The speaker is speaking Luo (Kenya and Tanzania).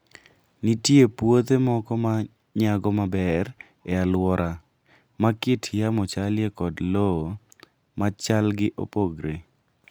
Nitie puothe moko ma nyago maber e alwora ma kit yamo chalie kod lowo ma chalgi opogore.